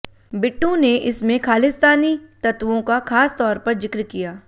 बिट्टू ने इसमें खालिस्तानी तत्त्वों का खास तौर पर जिक्र किया